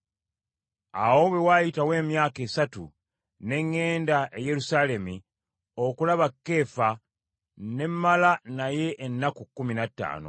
Awo bwe waayitawo emyaka esatu ne ŋŋenda e Yerusaalemi okulaba Keefa ne mmala naye ennaku kkumi na ttaano.